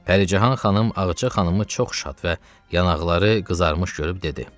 Pərican xanım Ağca xanımı çox şad və yanaqları qızarmış görüb dedi: